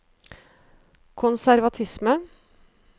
konservatisme